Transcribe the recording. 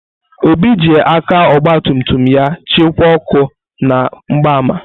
Obi ji aka ọgba tum tum ya chịkwaa ọkụ na mgbaama.